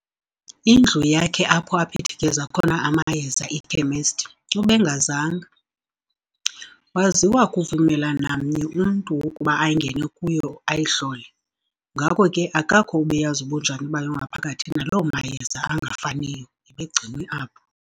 indlu yakhe apho aphithikeza khona amayeza, iKhemesti, ubengazanga waziwa kuvumela namnye umntu ukuba angene kuyo ayihlole, ngako ke akakho obeyazi ubunjani bayo ngaphakathi, naloo mayeza angafaniyo ebegcinwe apho.